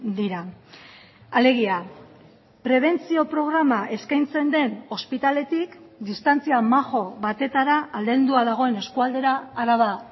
dira alegia prebentzio programa eskaintzen den ospitaletik distantzia majo batetara aldendua dagoen eskualdera araba